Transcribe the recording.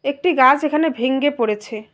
একটি গাছ এখানে ভেঙ্গে পড়েছে।